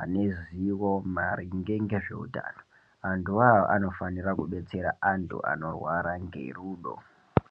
ane ruzivo maringe ngezveutano, antuwo awo anofanira kudetsera antu anorwara ngerudo.